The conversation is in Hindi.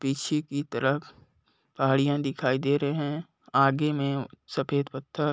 पीछे की तरफ पहाड़िया दिखाई दे रहे है आगे में सफेद पत्थर --